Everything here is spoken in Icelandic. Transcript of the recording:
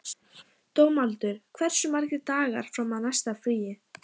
Dómaldur, hversu margir dagar fram að næsta fríi?